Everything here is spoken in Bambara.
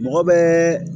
Mɔgɔ bɛɛ